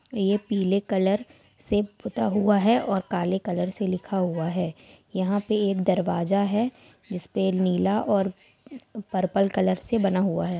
ये पीले कलर से पुता हुआ है और काले कलर से लिखा हुआ है। यहां पे एक दरवाजा है जिस पे नीला और पर्पल कलर से बना हुआ है।